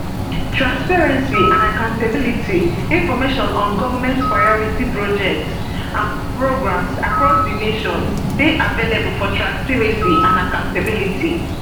transparency and accountabilityinformation on goment priority projects and programs across di nation dey available for transparency and accountability